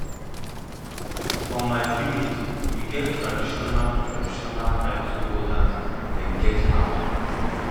for my village we get traditional traditional title holders dem get power